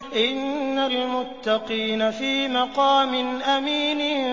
إِنَّ الْمُتَّقِينَ فِي مَقَامٍ أَمِينٍ